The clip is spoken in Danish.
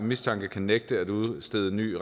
mistanke kan nægte at udstede ny